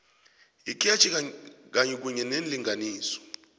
ikhetjhi kunye neenlinganiso